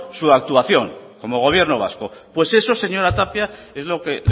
su actuación como gobierno vasco pues eso señora tapia es lo que